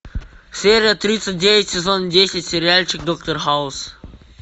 серия тридцать девять сезон десять сериальчик доктор хаус